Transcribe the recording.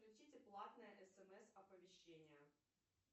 включите платное смс оповещение